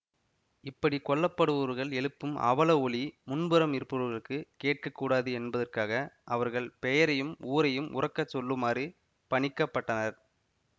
இப்படி கொல்லப்படுபவர்கள் எழுப்பும் அவல ஒலி முன்புறம் இருப்பவர்களுக்கு கேட்கக்கூடாது என்பதற்காக அவர்கள் பெயரையும் ஊரையும் உரக்கச் சொல்லுமாறு பணிக்கப்பட்டனர்